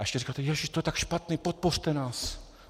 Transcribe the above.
A ještě říkáte, ježíš, to je tak špatné, podpořte nás.